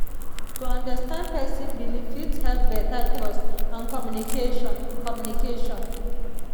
to understand person belief fit help better trust and communication. communication.